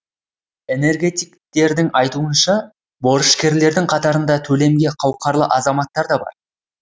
энергетиктердің айтуынша борышкерлердің қатарында төлемге қауқарлы азаматтар да бар